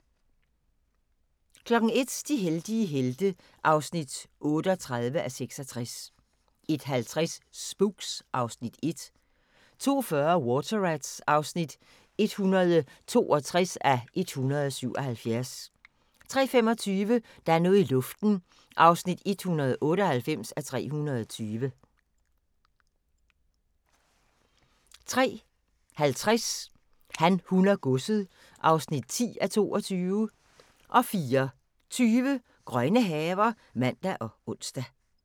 01:00: De heldige helte (38:66) 01:50: Spooks (Afs. 1) 02:40: Water Rats (162:177) 03:25: Der er noget i luften (198:320) 03:50: Han, hun og godset (10:22) 04:20: Grønne haver (man og ons)